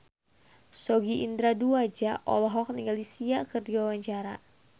Sogi Indra Duaja olohok ningali Sia keur diwawancara